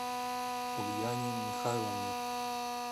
ульяне михайловне